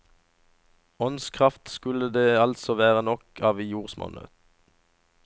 Åndskraft skulle det altså være nok av i jordsmonnet.